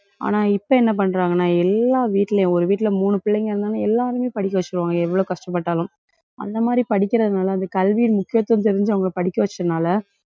ஆனா, இப்ப என்ன பண்றாங்கன்னா எல்லா வீட்டுலயும் ஒரு வீட்ல மூணு பிள்ளைங்க இருந்தாலும் எல்லாருமே படிக்க வச்சிருவாங்க. எவ்வளவு கஷ்டப்பட்டாலும் அந்த மாதிரி படிக்கிறதுனால அந்த கல்வியின் முக்கியத்துவம் தெரிஞ்சு அவங்களை படிக்க வச்சதுனால,